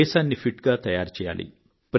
దేశాన్ని ఫిట్ గా తయారు చేయాలి